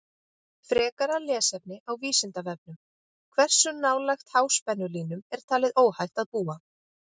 Frekara lesefni á Vísindavefnum: Hversu nálægt háspennulínum er talið óhætt að búa?